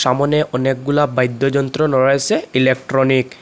সামোনে অনেকগুলা বাইদ্যযন্ত্র রয়েসে ইলেকট্রনিক ।